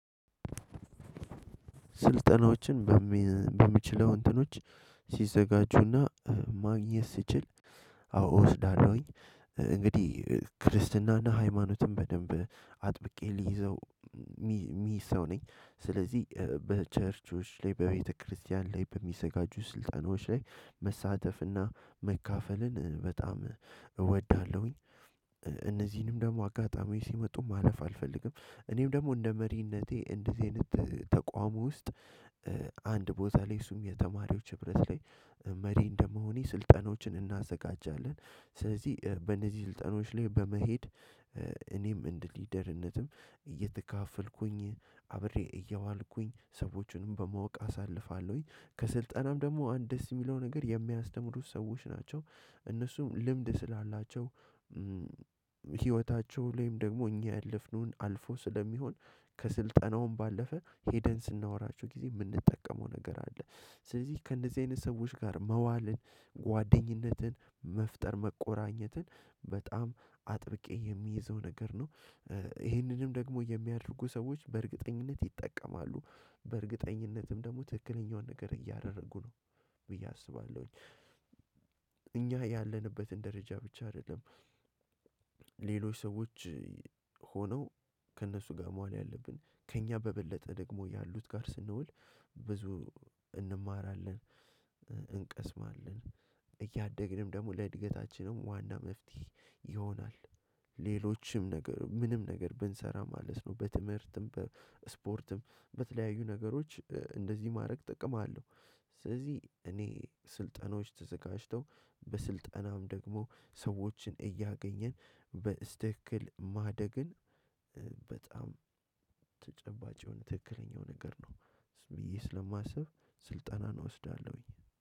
ስልጠናዎችን በሚ በሚችለው እንትኖች ሲዘጋጁና ማግኘት ስችል አዎ እወስዳለሁኝ እንግዲህ ክርስትናና ሃይማኖትን በደንብ አጥብቄ ልይዘው የሚይዝ ሰው ነኝ። ስለዚህ በቸርቾች ላይ በቤተክርስቲያን ላይ በሚዘጋጁ ስልጠናዎች ላይ መሳተፍና መካፈልን በጣም እወዳለሁኝ። እነዚህንም ደግሞ አጋጣሚ ሲመጡ ማለፍ አልፈልግም እኔም ደግሞ እንደ መሪነቴ እንደዚህ አይነት ተቋሙ ውስጥ አንድ ቦታ ላይ እሱም የተማሪዎች ህብረት ላይ መሪ እንደመሆኔ ስልጠናዎችን እናዘጋጃለን። ስለዚህ በእነዚህ ስልጠናዎች ላይ በመሄድ እኔም እንደ ሊደርነትም እየተካፈልኩኝ አብሬ እያዋልኩኝ ሰዎችንም በማወቅ አሳልፋለሁኝ። ከስልጣናም ደግሞ አንድ ደስ የሚለው ነገር የሚያስተምሩት ሰዎች ናቸው። እነሱም ልምድ ስላላቸው ህይወታቸው ላይም ደግሞ እኛ ያለፍነውን አልፎ ስለሚሆን ከስልጠናውም ባለፈ ሄደን ስናወራቸሁ ጊዜ የምንጠቀመው ነገር አለ። ስለዚህ ከእንደዚህ አይነት ሰዎች ጋር መዋልን ጓደኝነትን መፍጠር መቆራኘትን በጣም አጥብቄ የሚይዘው ነገር ነው። ይህንንም ደግሞ የሚያደርጉ ሰዎች በእርግጠኝነት ይጠቀማሉ። በእርግጠኝነትም ደግሞ ትክክለኛውን ነገር እያደረጉ ነው ብዬ አስባለሁኝ እኛ ያለንበትን ደረጃ ብቻ አይደለም ሌሎች ሰዎች ሆነው ከእነሱ ጋር መዋል ያለብን ከእኛ በበለጠ ደግሞ ያሉት ጋር ስንውል ብዙ እንማራለን፣ እንቀስማለን እያደግንም ደግሞ ለእድገታችንም ዋና መፍትሄ ይሆናል። ሌሎችም ነገር ምንም ነገር ብንሰራ ማለት ነው በትምህርትም በስፖርትም በተለያዩ ነገሮች እንደዚህ ማድረግ ጥቅም አለው። ስለዚህ እኔ ስልጠናዎች ተዘጋጅተው በስልጠናም ደግሞ ሰዎችን እያገኘን በስትክል ማደግን በጣም ተጨባጭ የሆነ ትክክለኛው ነገር ነው ብዬ ስለማስብ ስልጠናን እወስዳለሁኝ።